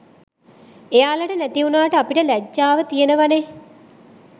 එයාලට නැතිවුණාට අපිට ලැජ්ජාව තියනවනේ!